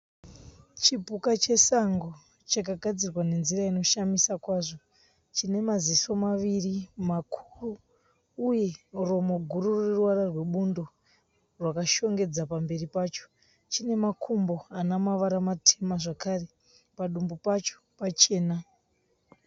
Chipuka chesango chakagadzirwa nenzira inoshamisa kwazvo. Chine maziso maviri makuru uye romo guru rine ruvara rwebundo rwakashongedza pamberi pacho. Chine makumbo ana mavara matema zvakare. Padumbu pacho pachena.